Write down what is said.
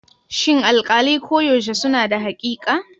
Shin alƙalai koyaushe suna da haƙiƙa?